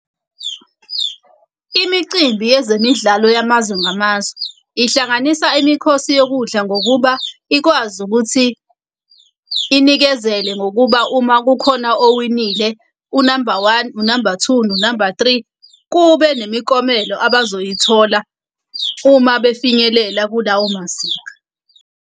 Imicimbi yezemidlalo yamazwe ngamazwe ihlanganisa imikhosi yokudla ngokuba ikwazi ukuthi inikezele ngokuba uma kukhona owinile u-number one, u-number two, no-number three, kube nemiklomelo abazoyithola uma befinyelela kulawo mazinga.